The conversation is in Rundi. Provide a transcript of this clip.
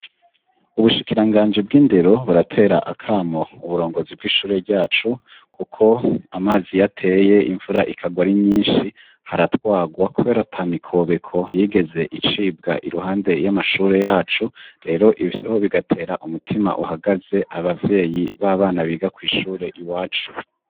Ubushikiranganji bw'indero buratera akamo uburongozi bw'ishure ryacu kuko amazi iyo ateye, imvura ikagwa ari nyinshi, haratwagwa kubera ata mikobeko yigeze icibwa iruhande y'amashure yacu, rero ivyo bigatera umutima uhagaze abavyeyi b'abana biga kw'ishure iwacu.